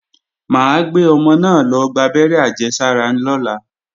Mà á gbé ọmọ náà lọ gbábẹ́rẹ́ àjẹsára lọ́la